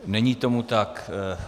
Není tomu tak.